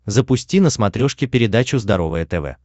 запусти на смотрешке передачу здоровое тв